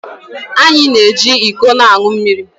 Anyị na-eji iko aṅụ mmiri.